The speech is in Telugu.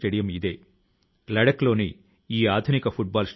క్షణశః కణశశ్చైవ విద్యామ్ అర్థం చ సాధయేత్